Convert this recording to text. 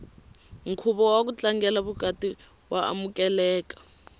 nkhuvo waku tlangela vukati wa amukeleka